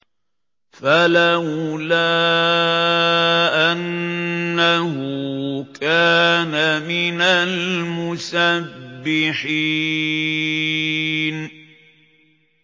فَلَوْلَا أَنَّهُ كَانَ مِنَ الْمُسَبِّحِينَ